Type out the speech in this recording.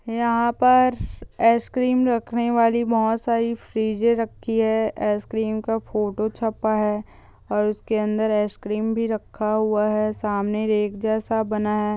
यहां पर इकेरेयम रखने योलि बहुत सारी फ्रीज़ेड राखी है इकेकरें का फोटो छपवा है उसके अंदर इकेकरेयम भी रखा हुआ है सामन एक जैसा बाना है|